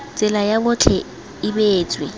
tsela ya botlhe e beetswe